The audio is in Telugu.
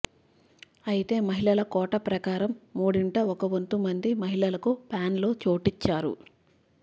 అయితే మహిళల కోటా ప్రకారం మూడింట ఒకవంతు మంది మహిళలకు ప్యానెల్లో చోటిచ్చారు